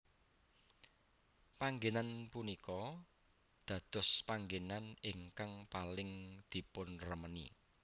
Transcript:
Panggénan punika dadospanggenan ingkang paling dipunremeni